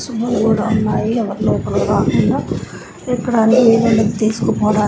చిన్న గోడ ఉన్నాయి. ఎవరు లోపలికి రాకుండా. ఎక్కడానికి వీలుండదు తీసుకుపోడా--